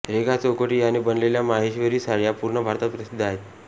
रेघा चौकटी याने बनलेल्या माहेश्वरी साड्या पूर्ण भारतात प्रसिद्ध आहेत